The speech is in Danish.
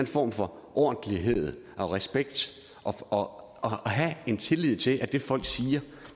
form for ordentlighed og respekt og have tillid til at det folk siger